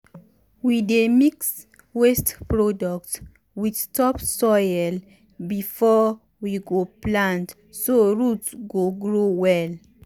we dey mix waste product with topsoil before we go plant so root go grow well.